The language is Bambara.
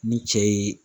Ni cɛ ye